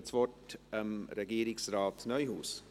Ich gebe das Wort Regierungsrat Neuhaus.